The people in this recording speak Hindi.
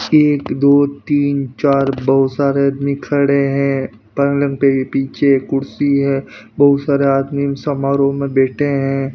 एक दो तीन चार बहुत सारे आदमी खड़े हैं पलंग पे पीछे कुर्सी है बहुत सारे आदमी समारोह में बैठे हैं।